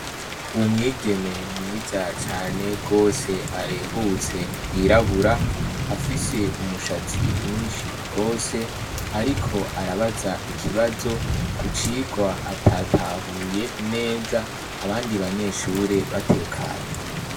Umwigeme mwiza cane gose arehutse yirabura afise umushatsi mwinshi gose ariko arabaza ikibazo kucirwa atatahuye neza abandi banyeshure batekanye